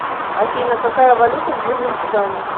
афина какая валюта в южном судане